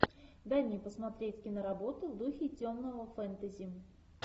дай мне посмотреть киноработу в духе темного фэнтези